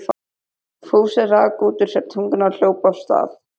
Fúsi rak út úr sér tunguna og hljóp af stað.